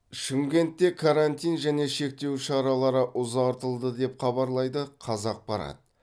шымкентте карантин және шектеу шаралары ұзартылды деп хабарлайды қазақпарат